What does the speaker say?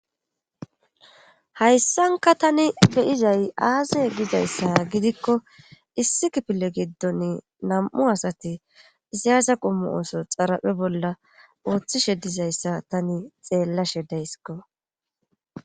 hayssanka tani beyizay aaze gizayssa gidikko issi kipile giddon nam7u asati izayaza qummu ooso xaraphe bolla ooththishe dizayssa tani xeellashe dayskko